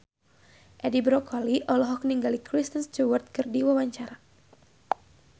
Edi Brokoli olohok ningali Kristen Stewart keur diwawancara